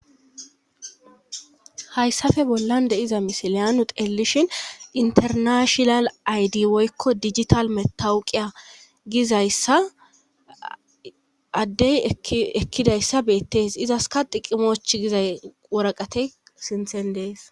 Hayssafe bollan de7iza misiliyaanu teellishin internashonal aydi woykko digital metawu qiya gizayssa addey ekkidayssa beettees izaska diqimoch gizay woraqate sinthen dees